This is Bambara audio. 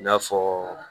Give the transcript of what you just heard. I n'a fɔ